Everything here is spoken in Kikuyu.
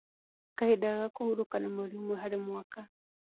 Kahinda ga kũhurũka nĩ mweri ũmwe harĩ mwaka